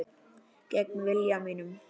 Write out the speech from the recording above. Gegn vilja mínum.